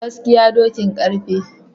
Gaskiya dokin garfe